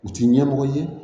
U ti ɲɛmɔgɔ ye